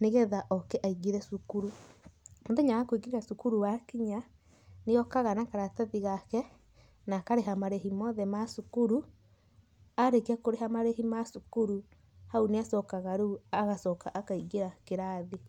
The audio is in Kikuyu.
nĩgetha ũko aingĩre cukuru. Mũthenya wa kũigĩra cukuru wakinya, nĩ okaga na karatathi gake na akarĩha marĩhĩ mothe ma cukuru. Arĩkia kũrĩha marĩhĩ ma cukuru hau ni acokaga akaingĩra kĩrathi.